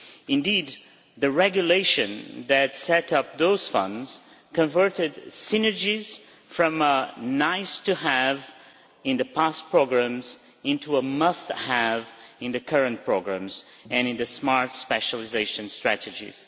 Indeed, the regulation that set up those funds converted synergies from nice to have' in past programmes into a must have' in the current programmes and in the smart specialisation strategies.